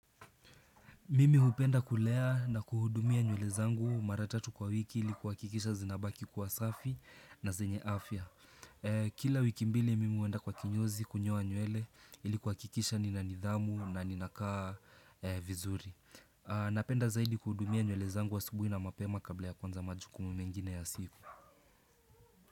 Mimi hupenda kulea na kuhudumia nywele zangu mara tatu kwa wiki ilikuhakikisha zinabaki kwa safi na zenye afya. Kila wiki mbili mimi huenda kwa kinyozi kunyoa nywele ilikuhakikisha nina nidhamu na ninakaa vizuri. Napenda zaidi kuhudumia nywele zangu asubuhi na mapema kabla ya kwanza majukumu mengine ya siku.